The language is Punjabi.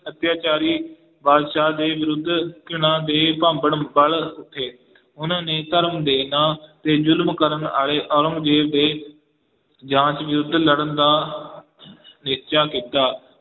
ਅਤਿਆਚਾਰੀ ਬਾਦਸ਼ਾਹ ਦੇ ਵਿਰੁੱਧ ਘ੍ਰਿਣਾ ਦੇ ਭਾਂਬੜ ਵਲ ਉੱਠੇ ਉਹਨਾਂ ਨੇ ਧਰਮ ਦੇੇ ਨਾਂ ਤੇ ਜ਼ੁਲਮ ਕਰਨ ਵਾਲੇ ਔਰੰਗਜੇਬ ਦੇ ਜਾਂਚ ਵਿਰੁੱਧ ਲੜਨ ਦਾ ਨਿਸ਼ਚਾ ਕੀਤਾ।